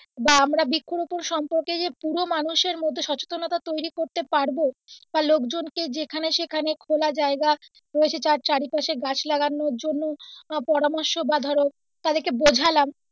বা আমরা বৃক্ষরোপণ সম্পর্কে যে পুরো মানুষের মধ্যে সচেতনতা যে তৈরি করতে পারবো বা লোকজন কে যেখানে সেখানে খোলা জায়গা রয়েছে ত্র চারিপাশে গাছ লাগানোর জন্য পরামর্শ বা ধরো তাদেরকে বোঝালাম,